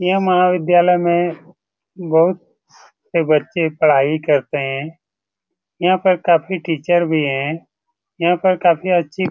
यह महाविद्यालय में बहुत से बच्चे पढ़ाई करते हैं यहां पर काफी टीचर भी हैं यहां पर काफी अच्छी --